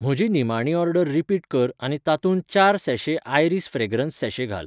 म्हजी निमाणी order repeat कर आनी तातूंत चार सैैशे आयरीस फ्रेग्रन्स सॅशे घाल